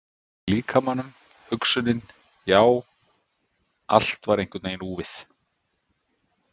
Tilfinningin í líkamanum, hugsunin, já, allt var einhvern veginn úfið.